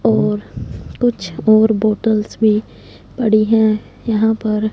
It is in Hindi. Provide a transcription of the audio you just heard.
और कुछ और बॉटल्स भी पड़ी है यहां पर--